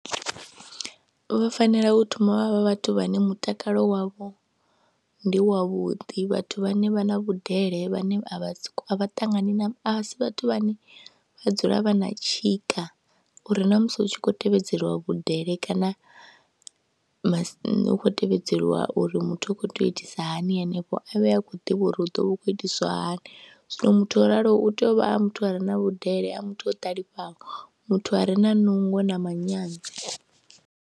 Vha fanela u thoma vha vha vhathu vhane mutakalo wavho ndi wavhuḓi, vhathu vhane vha na vhudele, vhane a vha a ṱanganani na a si vhathu vhane vha dzula vha na tshika uri na musi hu tshi khou tevhedzeliwa vhudele kana masi, hu khou tevhedzeliwa uri muthu u khou tea u itisa hani henefho a vhe a khou ḓivha uri hu ḓo vha hu khou itiswa hani, zwino muthu o raloho u tea u vha a muthu a re na vhudele, a muthu o ṱalifhaho, muthu a re na nungo na manyanyu.